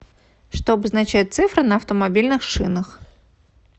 что обозначают цифры на автомобильных шинах